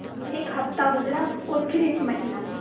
एक हफ़्ता गुज़रा और फिर एक महीना